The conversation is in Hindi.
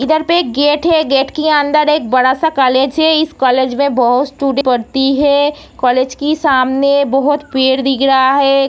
इधर पे एक गेट है के अंदर ये बड़ा-सा कालेज है इस कॉलेज में बहुत-सी स्टूडेंट पढ़ती है कॉलेज की सामने बहोत पेड़ दिख रहा है।